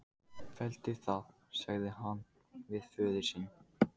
Felldu það, sagði hann við föður sinn.